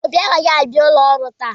Obi agaghị abịa ụlọ ọrụ taa.